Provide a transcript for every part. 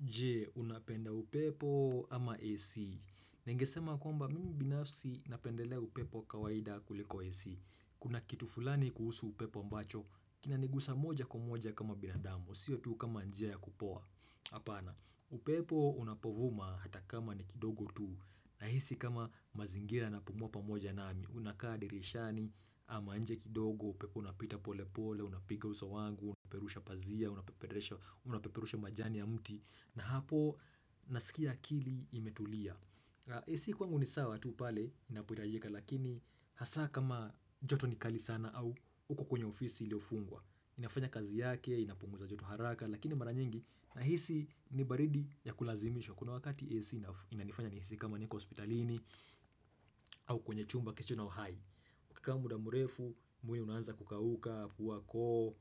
Je unapenda upepo ama AC? Ningesema kwamba mimi binafsi napendelea upepo wa kawaida kuliko AC. Kuna kitu fulani kuhusu upepo mbacho. Kinanigusa moja kwa moja kama binadamu. Sio tu kama njia ya kupoa. Hapana, upepo unapovuma hata kama ni kidogo tu, nahisi kama mazingira na pumua pamoja nami Unakaa dirishani ama nje kidogo, upepo unapita pole pole, unapiga uso wangu, unapeperusha pazia, unapeperesha unapeperusha majani ya mti na hapo nasikia akili imetulia. AC kwangu ni sawa tu pale inapohitajika lakini hasaa kama joto ni kali sana au uko kwenye ofisi iliofungwa inafanya kazi yake, inapunguza joto haraka lakini mara nyingi, nahisi ni baridi ya kulazimisho, kuna wakati AC ina inanifanya niisi kama niko hospitalini au kwenye chumba kisicho na uhai ukikaa muda mrefu, mwili unaanza kukauka, puwa, koo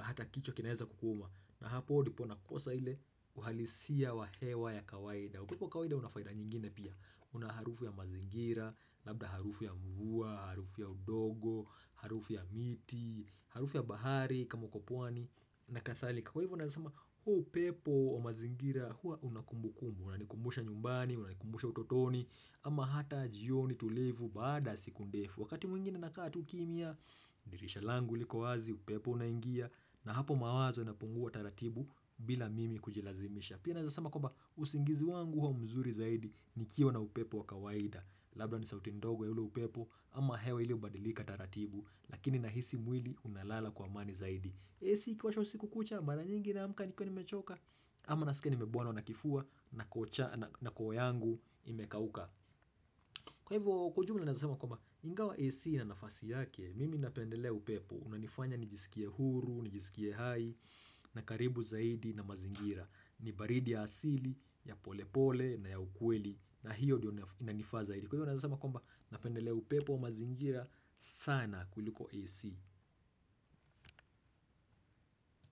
hata kichwa kinaeza kukuuma na hapo dipo na kosa ile uhalisia wa hewa ya kawaida. Upepo wa kawaida unafaida nyingine pia, unaharufu ya mazingira, labda harufu ya mvua, harufu ya udogo harufu ya miti, harufu ya bahari kama uko pwani na kathalika. Kwa hivyo nasema huu upepo wa mazingira huwa unakumbu kumbu Unanikumbusha nyumbani, unanikumbusha utotoni ama hata jioni tulivu baada ya siku ndefu. Wakati mwingine nakaa tuu kimia dirisha langu liko wazi, upepo unaingia na hapo mawazo inapungua taratibu bila mimi kujilazimisha. Pia naweza sema kwaba usingizi wangu huwa mzuri zaidi nikiwa na upepo wakawaida. Labda ni sauti ndogo ya ule upepo ama hewa iliobadilika taratibu. Lakini nahisi mwili unalala kwa amani zaidi. AC ikiwashwa siku kucha mara nyingi naamka nikiwa ni mechoka ama nasikia nimebuana na kifua na koo cha na koo yangu imekauka. Kwa hivyo kwa ujumla naeza sema kwamba ingawa AC ina nafasi yake, mimi napendelea upepo unanifanya nijisikie huru, nijisikie hai na karibu zaidi na mazingira ni baridi ya asili ya pole pole na ya ukweli na hiyo diyo inanifaa zaidi. Kwa hivyo naeza sema kwamba napendelea upepo wa mazingira sana kuliko AC.